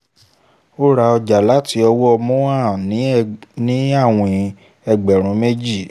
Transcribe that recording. ó ra ọjà láti ọwọ́ mohan ní àwìn ẹgbẹ̀rún méjì